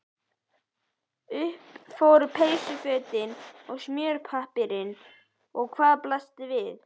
Upp fóru peysufötin og smjörpappírinn og hvað blasti við?